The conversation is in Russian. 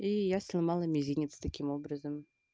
и я сломала мизинец таким образом